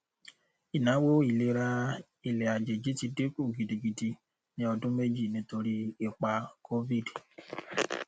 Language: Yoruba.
ìnáwó ìlera ilẹàjèjì ti dín kù gidigidi ní ọdún méjì nítorí ipa covid